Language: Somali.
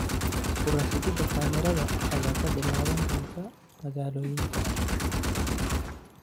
Ku rakibida kameradaha ayaa ka bilaaban doona magaalooyinka.